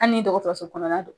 Ani dɔgɔtɔso kɔnɔna don.